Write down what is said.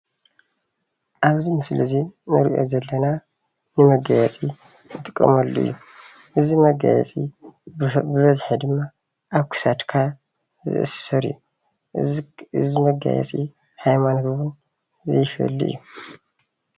ኣብዚ ምስሊ እዙይ እንሪኦ ዘለና ንመጋየፂ እንጥቀመሉ እዩ። እዚ መጋየፂ ብበዝሓ ድማ ኣብ ኽሳድክ ዝአሰር እዩ። እዚ መጋየፂ ሃይምኖት እውን ዘይፈሊ እዩ።